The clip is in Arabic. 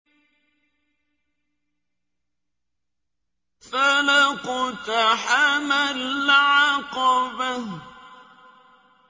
فَلَا اقْتَحَمَ الْعَقَبَةَ